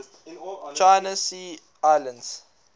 china sea islands